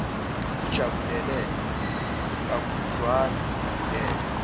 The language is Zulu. ukujabulele kakhudlwana uvulele